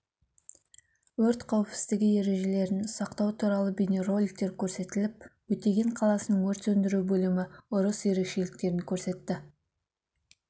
өрт қауіпсіздігі ережелерін сақтау туралы бейнероликтер көрсетіліп өтеген қаласының өрт сөндіру бөлімі ұрыс ерекшеліктерін көрсетті